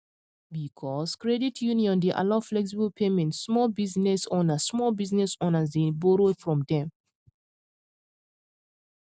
because credit union dey allow flexible payment small business owners small business owners dey borrow from dem